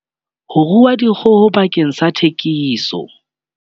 Ho rua dikgoho bakeng sa thekiso.